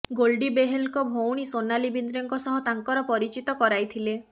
ଗୋଲ୍ଡି ବେହଲଙ୍କ ଭଉଣୀ ସୋନାଲି ବିନ୍ଦ୍ରେଙ୍କ ସହ ତାଙ୍କର ପରିଚିତ କରାଇଥିଲେ